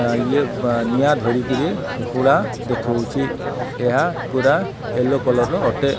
ଇଏ ପନିଆ ଧରିକିରି ଦେଖୋଉଚି ଏହା ପୁରା ୟେଲୋ କଲର୍ ର ଅଟେ।